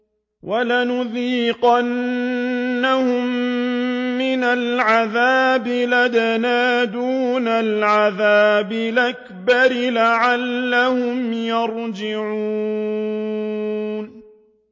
وَلَنُذِيقَنَّهُم مِّنَ الْعَذَابِ الْأَدْنَىٰ دُونَ الْعَذَابِ الْأَكْبَرِ لَعَلَّهُمْ يَرْجِعُونَ